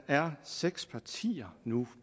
er seks partier nu